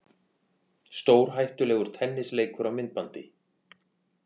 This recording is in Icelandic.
Stórhættulegur tennisleikur á myndbandi